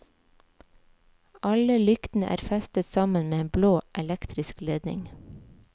Alle lyktene er festet sammen med en blå, elektrisk ledning.